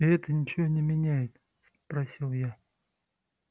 и это ничего не меняет спросил я